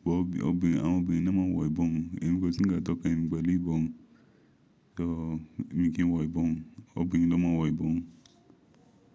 Ṣé àwọn obìnrin ló máa ń wọ ìbọmù? Èmi kò sì ńkan tó kan èmi pẹ̀lú ìbọmù, so èmi kí n wọ ìbọmù? Ọmọbìnrin ló máa ń wọ ìbọmù.